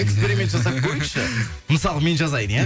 эксперимент жасап көрейікші мысалы мен жазайын иә